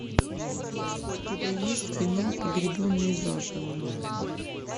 у тебя есть кино погребенные заживо